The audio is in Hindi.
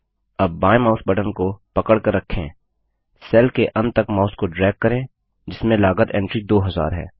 अब बायें माउस बटन को पकड़कर रखें सेल के अंत तक माउस को ड्रैग करें जिसमें लागत एंट्री 2000 है